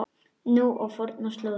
Nú á fornar slóðir.